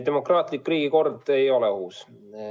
Demokraatlik riigikord ei ole ohus.